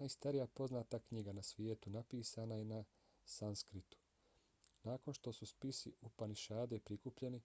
najstarija poznata knjiga na svijetu napisana je na sanskritu. nakon što su spisi upanišade prikupljeni